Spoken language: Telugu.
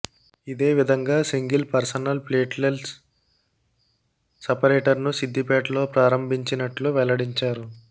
ఇదే విధంగా సింగిల్ పర్సనల్ ప్లేట్లెల్స్ సపరేటర్ను సిద్దిపేటలో ప్రారంభించినట్లు వెల్లడించారు